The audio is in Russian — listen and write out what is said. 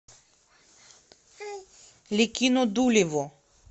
ликино дулево